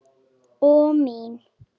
Og mín.